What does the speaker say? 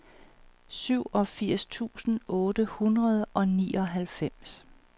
syvogfirs tusind otte hundrede og nioghalvfems